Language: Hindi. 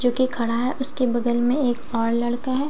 जो की खड़ा हैं उसके बगल में एक और लड़का हैं --